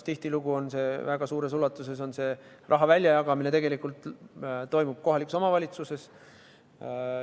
Tihtilugu väga suures ulatuses toimub selle raha väljajagamine kohalikes omavalitsustes.